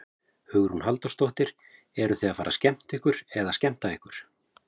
Hugrún Halldórsdóttir: Eruð þið að fara að skemmta eða skemmta ykkur?